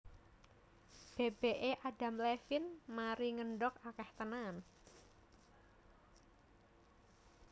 Bebek e Adam Levine mari ngendhog akeh tenan